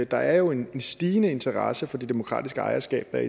der er jo en stigende interesse for de demokratiske ejerskaber